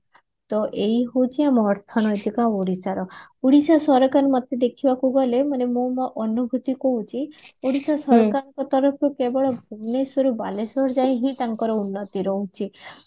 ତ ଏଇ ହଉଛି ଆମ ଅର୍ଥନୈତିକ ଓଡିଶାର ଓଡିଶା ସରକାର ମତେ ଦେଖିବାକୁ ଗଲେ ମୁଁ ମୋ ଅନୁଭୁତି କହୁଛି ଓଡିଶା ସରକାରଙ୍କ ତରଫରୁ କେବଳ ଭୁବନେଶ୍ଵରୁ ବାଲେଶ୍ଵର ଯାଏ ହିଁ ତାଙ୍କର ଉନ୍ନତି ରହୁଛି